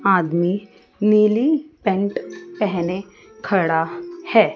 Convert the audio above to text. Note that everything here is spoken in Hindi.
आदमी नीली पैंट पहने खड़ा है।